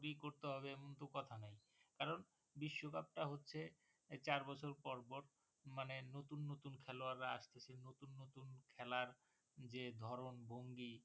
করতে হবে এমন তো কথা নেই কারণ বিশ্বকাপটা হচ্ছে চার বছর পর পর মানে নতুন নতুন খেলোয়াররা আসতেছে নতুন নতুন খেলার যে ধরণ ভঙ্গি